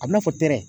A bɛna fɔ tɛrɛ